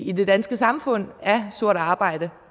i det danske samfund af sort arbejde